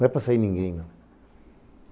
Não é para sair ninguém, não.